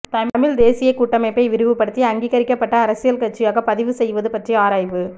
தமிழ்த் தேசியக் கூட்டமைப்பை விரிவுபடுத்தி அங்கீகரிக்கப்பட்ட அரசியல் கட்சியாக பதிவு செய்வது பற்றி ஆராய்வு